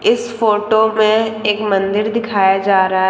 इस फोटो में एक मंदिर दिखाया जा रहा है।